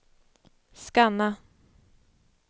scanna